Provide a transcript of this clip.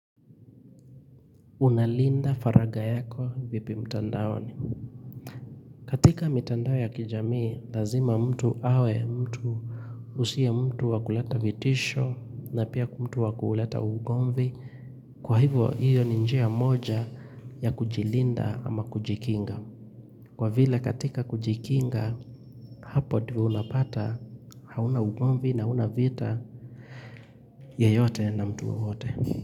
Unalinda faraga yako vipi mtandao ni. Katika mitandao ya kijamii, lazima mtu awe, mtu usiye mtu wakuleta vitisho na pia mtu wakuleta ugomvi. Kwa hivyo hiyo ni njia moja ya kujilinda ama kujikinga. Kwa vile katika kujikinga, hapo ndio unapata, hauna ugomvi na una vita yeyote na mtu wowote.